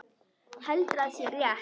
Heldur að sé rétt.